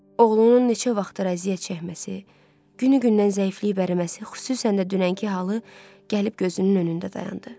Oğlunun neçə vaxtdır əziyyət çəkməsi, günü gündən zəifliyib əriməsi, xüsusən də dünənki halı gəlib gözünün önündə dayandı.